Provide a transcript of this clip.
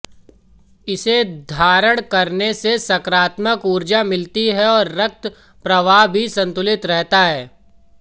इसे धारण करने से सकारात्मक ऊर्जा मिलती है रक्त प्रवाह भी संतुलित रहता है